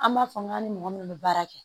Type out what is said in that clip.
An b'a fɔ n k'an ni mɔgɔ minnu bɛ baara kɛ